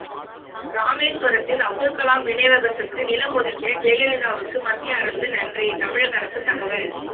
ராமேசுவரத்தில் அப்துல்கலாம் நினைவகத்துக்கு நிலம் ஒதுக்கிய ஜெயலலிதாவுக்கு மத்திய அரசு நன்றி தமிழக அரசு தகவல்